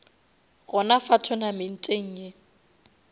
gona fa tournamenteng ye